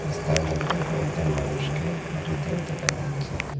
রাস্তার মইধ্যে কয়েকজন মানুষকে হাঁটিতেও দেখা যাচ্ছে।